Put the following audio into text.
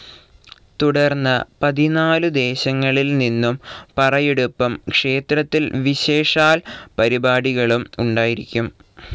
തുടർന്ന് പതിനാലുദേശങ്ങളിൽ നിന്നും പറയെടുപ്പും ക്ഷേത്രത്തിൽ വിശേഷാൽ പരിപാടികളും ഉണ്ടായിരിക്കും.